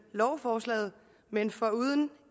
lovforslaget men foruden